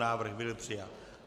Návrh byl přijat.